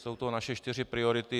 Jsou to naše čtyři priority.